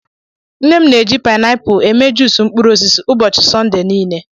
Nne m na-eji painapụl eme juus mkpụrụ osisi ụbọchị Sọnde niile.